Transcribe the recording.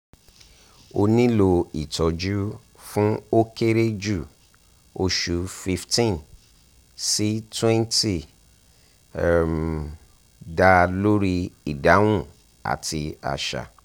o nilo itọju fun o kere ju osu fifteen si twenty um da lori idahun ati aṣa